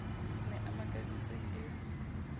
o ne a makaditswe ke